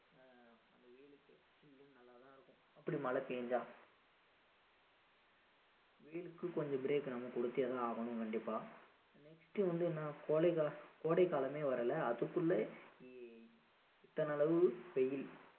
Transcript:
அப்படி மழை பெய்தா வெயிலுக்கு கொஞ்சம் break நம்ம கொடுத்தே தான் ஆகணும் கண்டிப்பா next வந்து என்ன கோடை காலம் கோடை காலமே வரல அதுக்குள்ள இ~ இத்தனை அளவு வெயில்